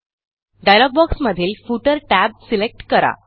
dialogue बॉक्समधील footer tab select करा